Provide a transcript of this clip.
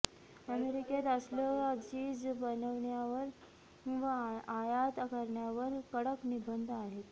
अमेरिकेत असलं चीझ बनवण्यावर व आयात करण्यावर कडक निर्बंध आहेत